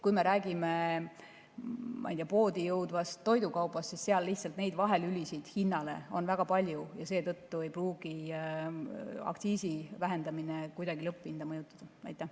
Kui me räägime, ma ei tea, poodi jõudvast toidukaubast, siis seal neid vahelülisid on väga palju ja seetõttu ei pruugi aktsiisi vähendamine lõpphinda kuidagi mõjutada.